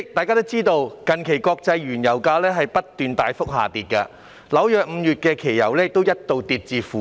代理主席，近期國際原油價格不斷大幅下跌，紐約5月期油更一度跌至負點數。